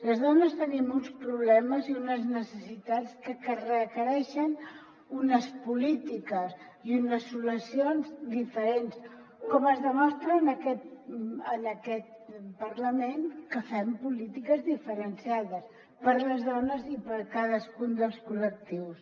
les dones tenim uns problemes i unes necessitats que requereixen unes polítiques i unes solucions diferents com es demostra en aquest parlament que fem polítiques diferenciades per a les dones i per a cadascun dels collectius